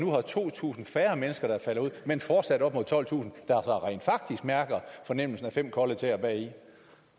to tusind færre mennesker der falder ud men fortsat op mod tolvtusind der så rent faktisk mærker fornemmelsen af fem kolde tæer bagi